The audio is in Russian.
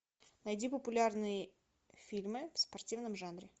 найди популярные фильмы в спортивном жанре